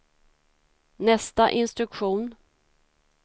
nästa instruktion